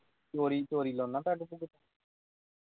ਚੋਰੀ ਚੋਰੀ ਲਾਨਾ ਪੈੱਗ ਪੁੱਗ